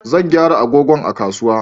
Zan gyara agogon a kasuwa